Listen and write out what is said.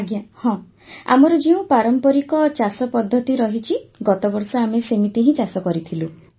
ଆଜ୍ଞା ହଁ ଆମର ଯେଉଁ ପାରମ୍ପରିକ ଚାଷ ପଦ୍ଧତି ରହିଛି ଗତବର୍ଷ ଆମେ ସେମିତି ହିଁ ଚାଷ କରିଥିଲୁ